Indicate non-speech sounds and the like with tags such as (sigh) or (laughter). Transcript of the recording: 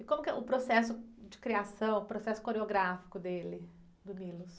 E como que é o processo de criação, o processo coreográfico dele, do? (unintelligible)